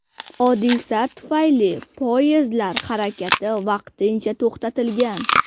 Hodisa tufayli poyezdlar harakati vaqtincha to‘xtatilgan.